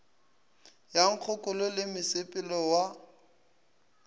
ya nkgokolo le mosepelo wa